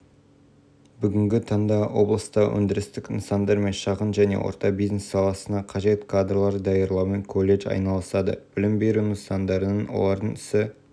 павлодар облысында елбасының индустриялық-инновациялық тапсырмаларды орындауға қабілетті жоғары кәсіби кадрларды даярлау ісі оң жолға қойылған деп